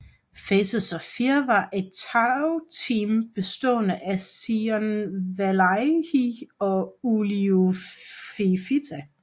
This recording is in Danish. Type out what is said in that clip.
Faces of Fear var et tagteam bestående af Sione Vailahi og Uliuli Fifita